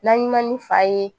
N'an ɲinɛn ni fa ye